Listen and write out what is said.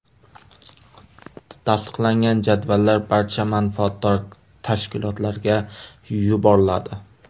Tasdiqlangan jadvallar barcha manfaatdor tashkilotlarga yuboriladi.